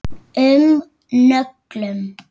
um nöglum.